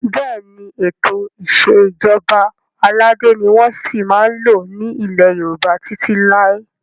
Bẹ́ẹ̀ni, Ètò ìsèjọba aládé ni wọn ò sì máa lò ní ilẹ́ Yorùbá títí lai